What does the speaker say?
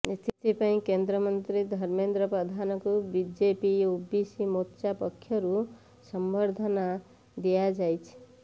ଏଥି ପାଇଁ କେନ୍ଦ୍ର ମନ୍ତ୍ରୀ ଧର୍ମେନ୍ଦ୍ର ପ୍ରଧାନଙ୍କୁ ବିଜେପି ଓବିସି ମୋର୍ଚ୍ଚା ପକ୍ଷରୁ ସମ୍ବର୍ଦ୍ଧନା ଦିଆଯାଇଛି